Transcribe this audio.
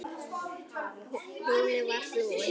Hún var flúin.